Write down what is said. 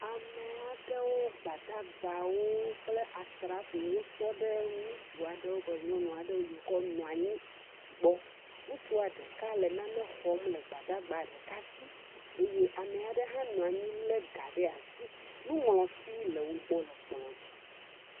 Ame aɖewo gbadagbawo kple asrafowo tɔ ɖe ŋutsu aɖewo kple nyɔnu aɖewo yiwo ke nɔ anyi gbɔ, ŋutsua ɖeka le nane xɔm le gbadagba ɖeka si eye ame aɖe hã nɔ anyi lé ga ɖe asi, nuŋlɔti le wo gbɔ le kplɔ dzi.